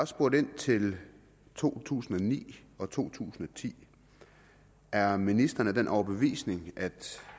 spurgt ind til to tusind og ni og to tusind og ti er ministeren af den overbevisning at